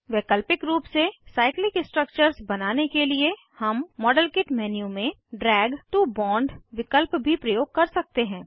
वैकल्पिक रूप से साइक्लिक स्ट्रक्चर्स बनाने के लिए हम मॉडलकिट मेन्यू में ड्रैग टो बोंड विकल्प भी प्रयोग कर सकते हैं